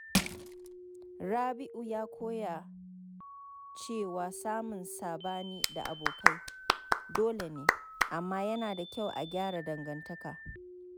Rabi’u ya koya cewa samun sabani da abokai dolene, amma yana da kyau a gyara dangantaka.